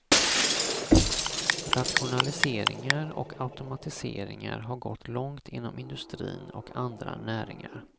Rationaliseringar och automatiseringar har gått långt inom industrin och andra näringar.